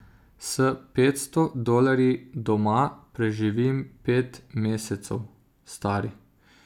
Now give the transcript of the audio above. S petsto dolarji doma preživim pet mesecev, stari.